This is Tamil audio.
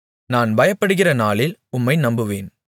நான் பயப்படுகிற நாளில் உம்மை நம்புவேன்